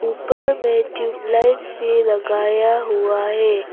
ऊपर में ट्यूबलाइट्स भी लगाया हुआ है।